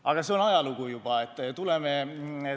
Aga see on juba ajalugu.